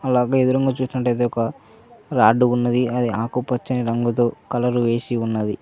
అలాగే ఎదురుంగా చూసినట్టయితే ఒక రాడ్డు ఉన్నది అది ఆకుపచ్చని రంగుతో కలర్ వేసి ఉన్నది.